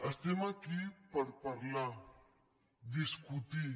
estem aquí per parlar discutir